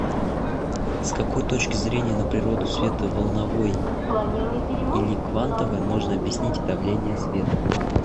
с какой точки зрения на природу света волновой или квантовой можно объяснить давления света